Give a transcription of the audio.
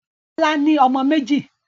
Bọ́lá ní ọmọ méjì.